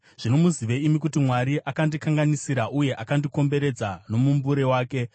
zvino muzive imi kuti Mwari akandikanganisira uye akandikomberedza nomumbure wake.